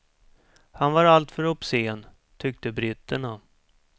Han var alltför obscen, tyckte britterna.